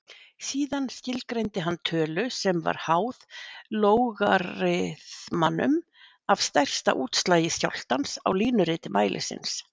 Síðan skilgreindi hann tölu sem var háð lógariþmanum af stærsta útslagi skjálftans á línuriti mælisins.